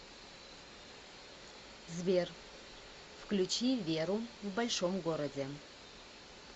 сбер включи веру в большом городе